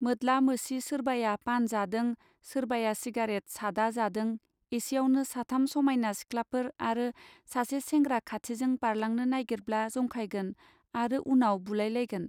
मोद्ला मोसि सोरबाया पान जादों सोरबाया सिगारेट सादा जादों एसेयावनो साथाम समायना सिख्लाफोर आरो सासे सेंग्रा खाथिजों बारलांनो नागिरब्ला जंखायगोन आरो उनाव बुलायलायगोन.